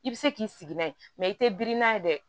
I bɛ se k'i sigi n'a ye i tɛ biri n'a ye dɛ